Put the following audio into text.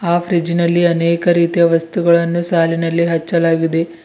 ಆ ಫ್ರಿಡ್ಜ್ ನಲ್ಲಿ ಅನೇಕ ರೀತಿಯ ವಸ್ತುಗಳನ್ನು ಸಾಲಿನಲ್ಲಿ ಹಚ್ಚಲಾಗಿದೆ.